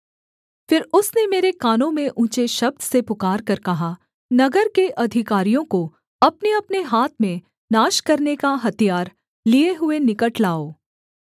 फिर उसने मेरे कानों में ऊँचे शब्द से पुकारकर कहा नगर के अधिकारियों को अपनेअपने हाथ में नाश करने का हथियार लिए हुए निकट लाओ